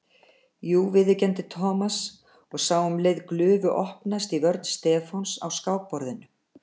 Jú viðurkenndi Thomas og sá um leið glufu opnast í vörn Stefáns á skákborðinu.